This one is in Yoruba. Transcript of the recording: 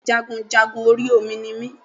Bẹ́ẹ̀ni jagunjagun orí Omi ni mi